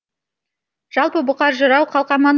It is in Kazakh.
жалпы бұқар жырау қалқаман